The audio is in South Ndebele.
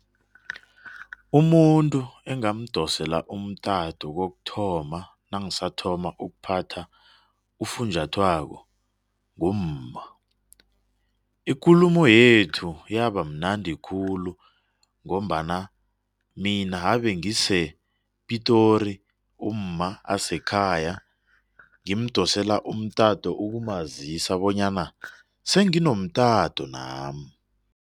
Umuntu engamdosele umtato kokuthoma nangisathoma ukuphatha ufunjathwako, ngumma ikulumo yethu yaba mnundi khulu ngombana mina abengisePitori umma asekhaya ngimdosela umtato ukumazisa bonyana senginomtato nami.